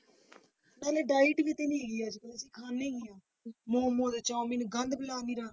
ਇੰਨੀ diet ਵੀ ਤੇ ਨਹੀਂ ਹੈਗੀ ਅੱਜ ਕੱਲ੍ਹ ਦੀ, ਖਾਂਦੇ ਕੀ ਹਾਂ ਮੋਮੋਸ, ਚਾਊਮੀਨ ਗੰਦ